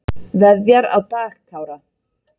Veðjar á Dag Kára